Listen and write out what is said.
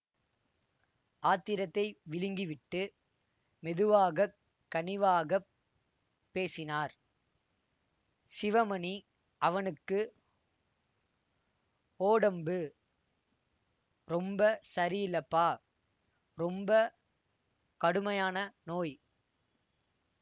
ஆத்திரத்தை விழுங்கி விட்டு மெதுவாக கனிவாகப் பேசினார் சிவமணி அவனுக்கு ஓடம்பு ரொம்ப சரியில்லப்பா ரொம்ப கடுமையான நோய்